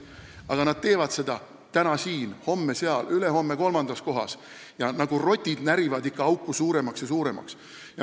Aga nad teevad seda täna siin, homme seal, ülehomme kolmandas kohas, närides auku ikka suuremaks ja suuremaks nagu rotid.